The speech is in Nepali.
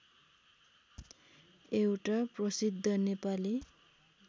एउटा प्रसिद्ध नेपाली